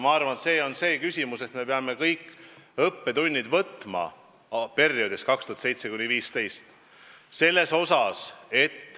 Ma arvan, et me peame arutlusele võtma kõik õppetunnid perioodist 2007–2015.